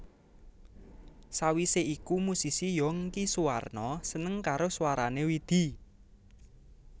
Sawise iku musisi Younky Soewarno seneng karo swarané Widi